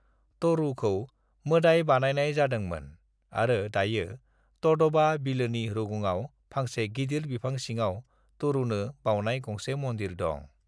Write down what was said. तरुखौ मोदाय बानायनाय जादोंमोन आरो दायो तड'बा बिलोनि रुगुङाव फांसे गिदिर बिफां सिङाव तरुनो बावनाय गंसे मन्दिर दं।